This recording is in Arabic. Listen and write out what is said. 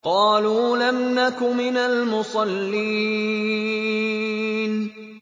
قَالُوا لَمْ نَكُ مِنَ الْمُصَلِّينَ